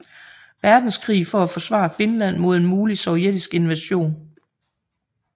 Verdenskrig for at forsvare Finland mod en mulig sovjetisk invasion